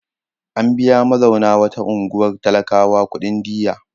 An biya mazauna wata unguwar talakawa kuɗin diyya.